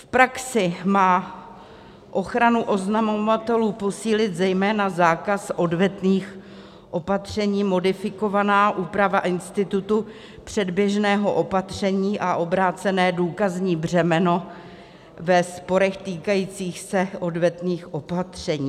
V praxi má ochranu oznamovatelů posílit zejména zákaz odvetných opatření, modifikovaná úprava institutu předběžného opatření a obrácené důkazní břemeno ve sporech týkajících se odvetných opatření.